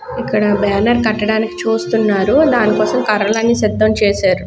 ఇక్కడ బ్యానర్ కట్టడానికి చుస్తునారు దానికోసం కర్రలు అన్నీ సిధం చేసారు.